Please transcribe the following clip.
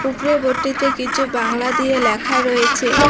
উপরের বোটটিতে কিছু বাংলা দিয়ে ল্যাখা রয়েছে।